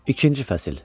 İkinci fəsil: